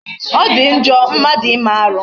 Ọ dị njọ mmadụ ime arụ.